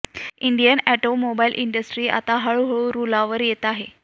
Indian automobile industry आता हळू हळू रुळावर येत आहे